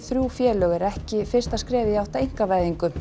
þrjú félög er ekki fyrsta skrefið í átt að einkavæðingu